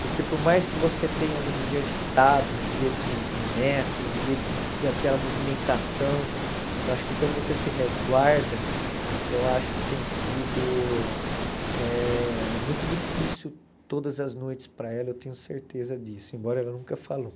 Porque por mais que você tenha ali um dia agitado, um dia de de neto, um dia de daquela movimentação, eu acho que quando você se resguarda, eu acho que tem sido eh muito difícil todas as noites para ela, eu tenho certeza disso, embora ela nunca falou.